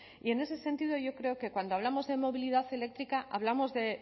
y en ese sentido yo creo que cuando hablamos de movilidad eléctrica hablamos de